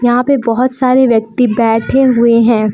यहां पे बहुत सारे व्यक्ति बैठे हुए हैं।